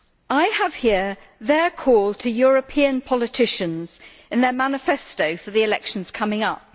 I have here their call to European politicians in their manifesto for the elections coming up.